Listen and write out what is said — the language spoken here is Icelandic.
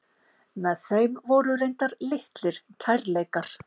Með þeim voru reyndar litlir kærleikar.